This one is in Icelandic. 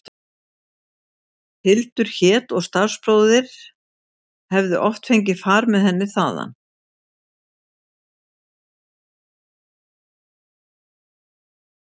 Hildur hét og starfsbróðir hefði oft fengið far með henni þaðan.